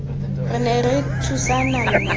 re ne ra thusana mme